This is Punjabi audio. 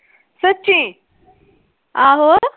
ਸੱਚੀ ਆਹੋ।